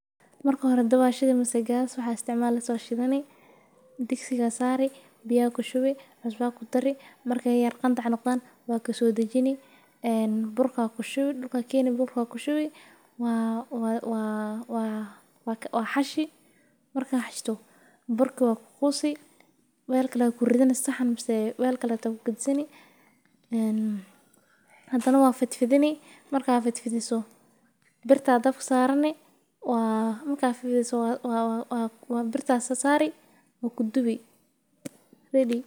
Marka hore dab aya shidiase gas waxaa isticmali hyso burka aya kushubi waa xashi marka kadib waa fid fidini birta aya dabka sari marka waa kudubi kadiib nah waxaa kudareysaa basbas toon iyo deer gad gaduthan sas aya usameynesa.